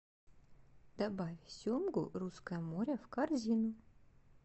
добавь семгу русское море в корзину